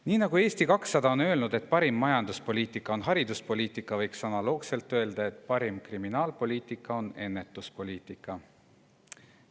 Nii nagu Eesti 200 on öelnud, et parim majanduspoliitika on hariduspoliitika, võiks analoogselt öelda, et parim kriminaalpoliitika on ennetuspoliitika.